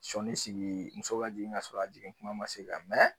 Sɔni sigi muso ka jigin k'a sɔrɔ a jigin kuma ma se ka mɛɛ